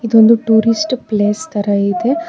ಇದೊಂದು tourist place ತರ ಇದೆ.